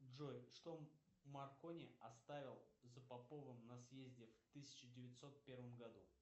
джой что маркони оставил за поповым на съезде в тысяча девятьсот первом году